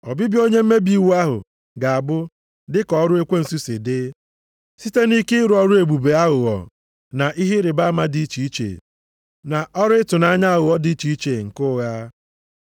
Ọbịbịa onye mmebi iwu ahụ ga-abụ dị ka ọrụ ekwensu si dị, site nʼike ịrụ ọrụ ebube aghụghọ na ihe ịrịbama dị iche iche, na ọrụ ịtụnanya aghụghọ dị iche iche nke ụgha.